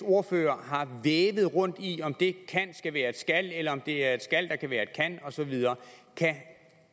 ordførere har vævet rundt i om det kan skal være et skal eller om det er et skal der kan være et kan og så videre kan